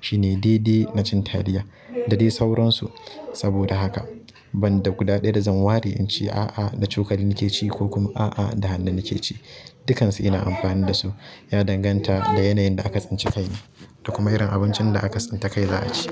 Shi ne daidai na cin taliya da dai sauransu. Saboda haka ban da guda ɗaya da zan ware in ce, "A'a, da cokali nake ci" ko kuma "A'a, da hannu nake ci." Dukansu ina amfani da su. Ya danganta da yanayin da aka tsince kai ne da kuma irin abincin da aka tsinta kai za a ci.